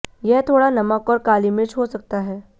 यह थोड़ा नमक और काली मिर्च हो सकता है